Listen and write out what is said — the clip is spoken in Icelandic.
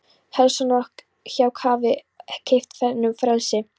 Hallsson að hjú hafi keypt honum frelsi.